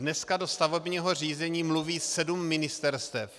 Dneska do stavebního řízení mluví sedm ministerstev.